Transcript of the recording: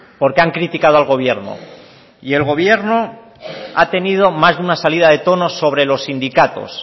porque han criticado al gobierno y el gobierno ha tenido más de una salida de tono sobre los sindicatos